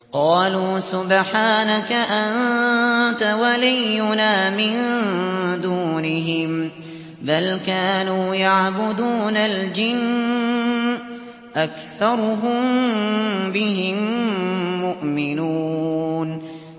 قَالُوا سُبْحَانَكَ أَنتَ وَلِيُّنَا مِن دُونِهِم ۖ بَلْ كَانُوا يَعْبُدُونَ الْجِنَّ ۖ أَكْثَرُهُم بِهِم مُّؤْمِنُونَ